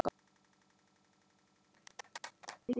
Það versta er þó ótalið.